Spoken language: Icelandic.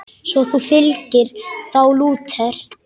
Svo þú fylgir þá Lúter?